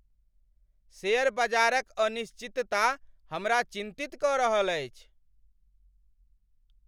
Share बजारक अनिश्चितता हमरा चिंतित क रहल अछि!